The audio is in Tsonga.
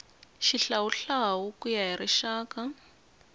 xihlawuhlawu ku ya hi rixaka